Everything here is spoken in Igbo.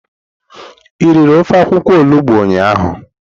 I riri ofe akwukwo olugbo ụnyahụ.